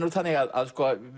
þannig að